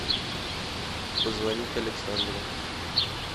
позвонить александру